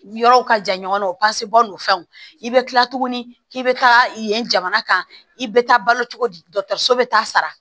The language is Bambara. Yɔrɔw ka jan ɲɔgɔn na o n'o fɛnw i bɛ kila tuguni k'i bɛ taa yen jamana kan i bɛ taa balo cogo di dɔgɔtɔrɔso bɛ taa sara